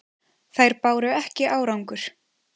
Þær báru ekki árangur.